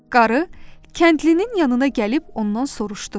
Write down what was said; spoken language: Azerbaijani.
Qarı kəndlinin yanına gəlib ondan soruşdu.